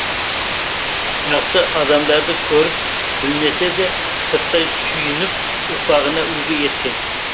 жақсы адамдарды көріп білмесе де сырттай сүйініп ұрпағына үлгі еткен